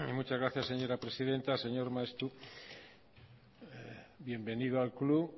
muchas gracias señora presidenta señor maeztu bienvenido al club